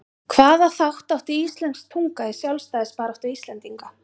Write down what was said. Hvaða þátt átti íslensk tunga í sjálfstæðisbaráttu Íslendinga?